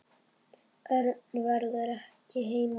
Örn verður ekki heima.